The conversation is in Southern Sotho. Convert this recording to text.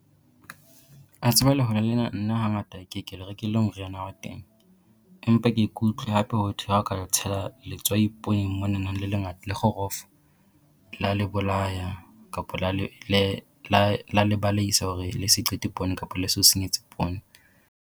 A tseba lehole lena nna hangata ke e ke le rekele moriana wa teng, empa ke e ke utlwe hape ho thwe ha o ka tshela letswai pooneng monana le lengata le kgorofo. Lea le bolaya kapo lea le baleisa hore le se qete poone kapo le se o senyetse poone.